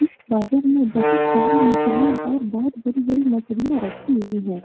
इस बाजार में बहुत सारी मछलियाँ और बहुत बड़ी-बड़ी मछलियाँ रखी हुई हैं।